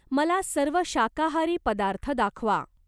मला सर्व शाकाहारी पदार्थ दाखवा.